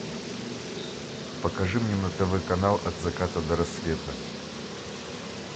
покажи мне на тв канал от заката до рассвета